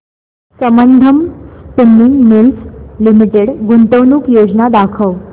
Sambandam spinning mills limited गुंतवणूक योजना दाखव